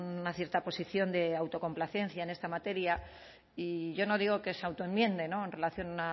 una cierta posición de autocomplacencia en esta materia y yo no digo que se autoenmiende en relación a